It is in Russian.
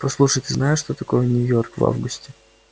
послушай ты знаешь что такое нью-йорк в августе